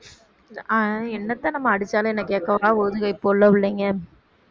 ஆஹ் என்னத்த நம்ம அடிச்சாலும் என்ன கேக்கவா போகுதுக இப்ப உள்ள புள்ளைங்க